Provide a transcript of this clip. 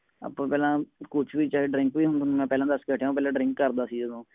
drink ਵੀ ਹੁਣ ਮੈ ਪਹਿਲਾ ਦਸ ਕੇ ਹਟਿਆ ਉਹ ਪਹਿਲਾ drink ਕਰਦਾ ਸੀ ਓਦੋ